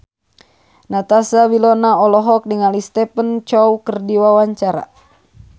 Natasha Wilona olohok ningali Stephen Chow keur diwawancara